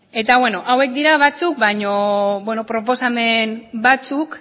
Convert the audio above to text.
eta beno hauek dira batzuk baino beno proposamen batzuk